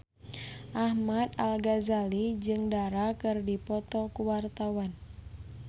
Ahmad Al-Ghazali jeung Dara keur dipoto ku wartawan